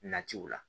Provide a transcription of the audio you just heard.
Natiw la